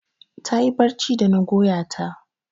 Ta yi barci da na goya ta.